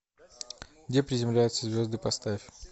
где приземляются звезды поставь